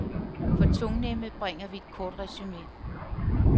For tungnemme bringer vi et kort resume.